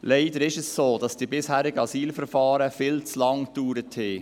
Leider ist es so, dass die bisherigen Asylverfahren viel zu lange gedauert haben.